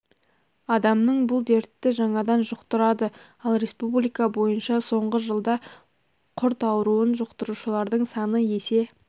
адамның бұл дертті жаңадан жұқтырады ал республика бойынша соңғы жылда құрт ауруын жұқтырушылардың саны есе